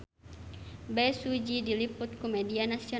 Bae Su Ji diliput ku media nasional